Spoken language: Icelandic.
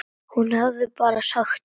Hún hafði bara sagt satt.